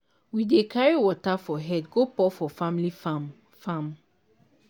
we dey carry water for head go pour for family farm. farm.